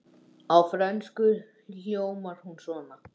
Á frönsku hljómar hún svona